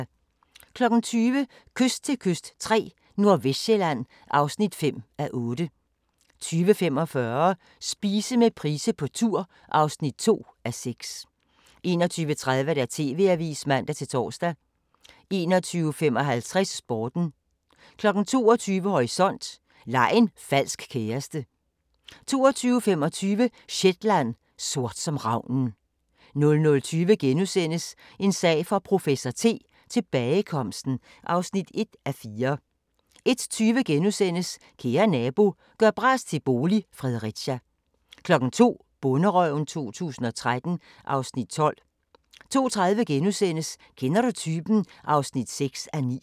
20:00: Kyst til kyst III – Nordvestsjælland (5:8) 20:45: Spise med Price på tur (2:6) 21:30: TV-avisen (man-tor) 21:55: Sporten 22:00: Horisont: Lej en falsk kæreste 22:25: Shetland: Sort som ravnen 00:20: En sag for professor T: Tilbagekomsten (1:4)* 01:20: Kære nabo – gør bras til bolig – Fredericia * 02:00: Bonderøven 2013 (Afs. 12) 02:30: Kender du typen? (6:9)*